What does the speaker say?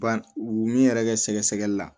Ban u min yɛrɛ kɛ sɛgɛsɛgɛli la